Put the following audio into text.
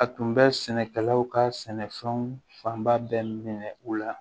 A tun bɛ sɛnɛkɛlaw ka sɛnɛfɛnw fanba bɛɛ minɛ u la